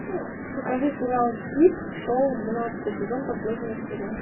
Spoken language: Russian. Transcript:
покажи сериал пип шоу двенадцатый сезон последняя серия